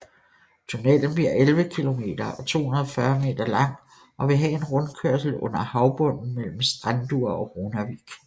Tunellen bliver 11 kilometer og 240 meter lang og vil have en rundkørsel under havbunden mellem Strendur og Runavík